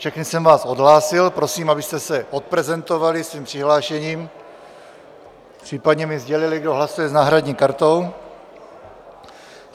Všechny jsem vás odhlásil, prosím, abyste se odprezentovali svým přihlášením, případně mi sdělili, kdo hlasuje s náhradní kartou.